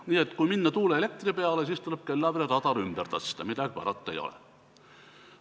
Nii et kui minna tuuleelektri peale, siis tuleb Kellavere radar ümber tõsta, midagi parata ei ole.